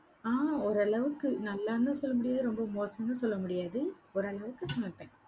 ஆஹ் ஒரு அளவுக்கு நல்லான்னு சொல்ல முடியாது, ரொம்ப மோசமா சொல்ல முடியாது. ஓரளவுக்கு சமைப்பேன்.